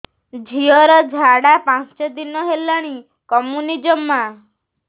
ଝିଅର ଝାଡା ପାଞ୍ଚ ଦିନ ହେଲାଣି କମୁନି ଜମା